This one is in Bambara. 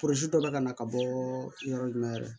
dɔ bɛ ka na ka bɔ yɔrɔ jumɛn yɛrɛ